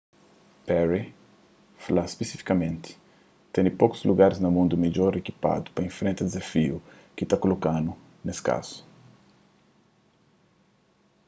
perry fla spisifikamenti ten pokus lugaris na mundu midjor ikipadu pa infrenta dizafiu ki ta kolokadu nes kazu